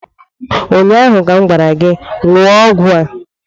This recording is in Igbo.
Ụnyaahụ ka m gwara gị, ṅụọ ọgwụ a!